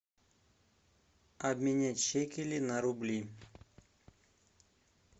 обменять шекели на рубли